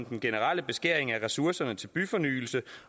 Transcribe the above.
den generelle beskæring af ressourcerne til byfornyelse